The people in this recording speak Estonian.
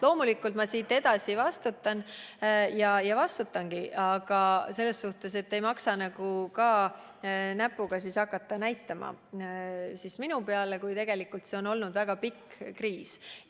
Loomulikult ma siit edasi vastutan, aga ei maksa näpuga ainult minu peale näidata, kui tegelikult see on olnud väga pikk kriis.